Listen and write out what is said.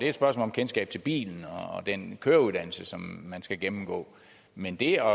et spørgsmål om kendskab til bilen og den køreuddannelse som man skal gennemgå men det